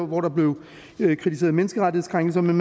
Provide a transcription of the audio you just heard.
hvor der blev kritiseret menneskerettighedskrænkelser men